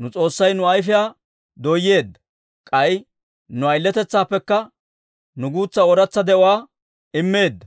Nu S'oossay nu ayfiyaa dooyeedda; k'ay nu ayiletetsaappekka nuw guutsa ooratsa de'uwaa immeedda.